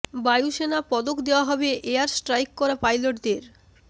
বায়ু সেনা পদক দেওয়া হবে এয়ার স্ট্রাইক করা পাইলটদের